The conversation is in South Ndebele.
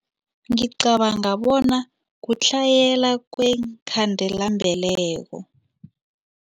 Ngicabanga bona kutlhayela kweenkhandelambeleko.